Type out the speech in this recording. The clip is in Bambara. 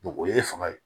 o ye fanga ye